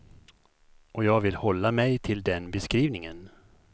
Och jag vill hålla mig till den beskrivningen.